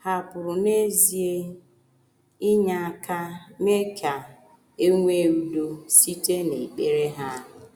Hà pụrụ n’ezie inye aka mee ka e nwee udo site n’ekpere ha?